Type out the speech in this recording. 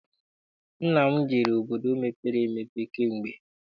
Nna m jere obodo mepere emepe kamgbe.